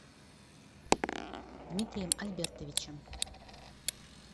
дмитрием альбертовичем